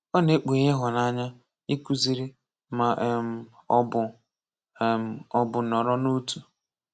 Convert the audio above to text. Ọ na-ekpughe ịhụnanya, ịkụziri, ma um ọ bụ um ọ bụ nọrọ n'otu.